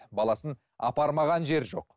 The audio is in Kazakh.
баласын апармаған жері жоқ